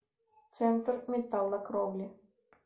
центр металлокровли